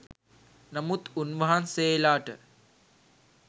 නමුත් උන්වහන්සේලාට